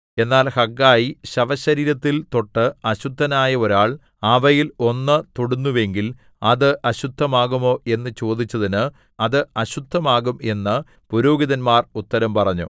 എന്നാൽ ഹഗ്ഗായി ശവ ശരീരത്തിൽ തൊട്ട് അശുദ്ധനായ ഒരാൾ അവയിൽ ഒന്ന് തൊടുന്നുവെങ്കിൽ അത് അശുദ്ധമാകുമോ എന്ന് ചോദിച്ചതിന് അത് അശുദ്ധമാകും എന്ന് പുരോഹിതന്മാർ ഉത്തരം പറഞ്ഞു